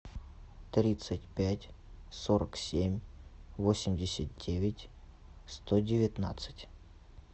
тридцать пять сорок семь восемьдесят девять сто девятнадцать